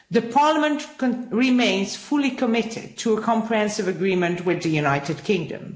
Parliament remains fully committed to a comprehensive agreement with the United Kingdom.